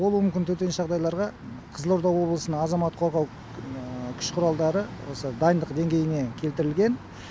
болуы мүмкін төтенше жағдайларға қызылорда облысының азамат қорғау күш құралдары осы дайындық деңгейіне келтірілген